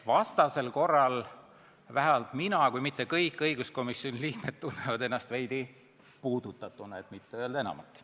Vastasel korral vähemalt mina, kui mitte kõik õiguskomisjoni liikmed tunnevad ennast veidi puudutatuna, et mitte öelda enamat.